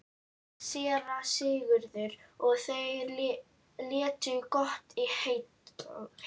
SÉRA SIGURÐUR: Og þeir létu gott heita?